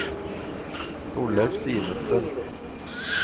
Torleif Simensen